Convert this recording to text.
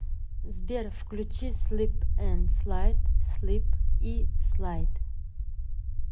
сбер включи слип энд слайд слип и слайд